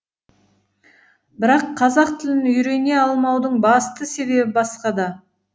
бірақ қазақ тілін үйрене алмаудың басты себебі басқада